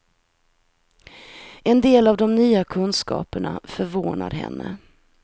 En del av de nya kunskaperna förvånar henne.